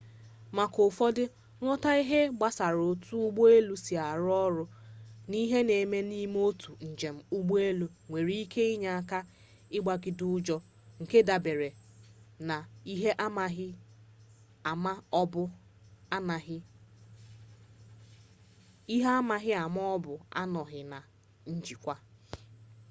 maka ụfọdụ nghọta ihe gbasara otu ụgbọ elu si arụ ọrụ na ihe na-eme n'ime otu njem ụgbọelu nwere ike inye aka ịgabiga ụjọ nke dabere na ihe amaghị ma ọ bụ anọghị na njikwa